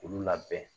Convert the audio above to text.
K'olu labɛn